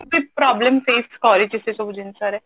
ଯିଏ problem face କରିଛି ସେ ସବୁ ଜିନିଷ ରେ